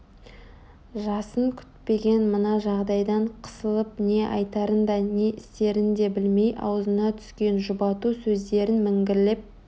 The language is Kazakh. жасын күтпеген мына жағдайдан қысылып не айтарын да не істерін де білмей аузына түскен жұбату сөздерін міңгірлеп